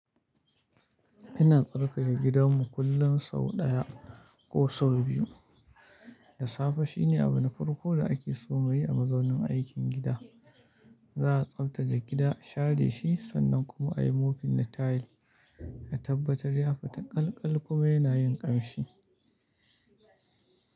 Ina tsarkake gidanmu kullum sau ɗaya ko sau biyu. Da safe shine abin farko da ake so mu yi a mazaunin aikin gida. Za a tsaftace gida, share shi sannan kuma a yi mufin na tayil, a tabbatar ya fi ta ƙalkal kuma yana yin ƙamshi.